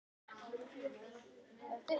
Og allt sem í þeim var.